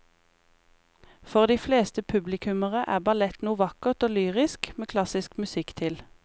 For de fleste publikummere er ballett noe vakkert og lyrisk med klassisk musikk til.